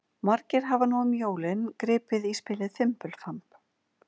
Margir hafa nú um jólin gripið í spilið Fimbulfamb.